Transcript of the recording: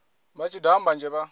vha tshi daha mbanzhe vha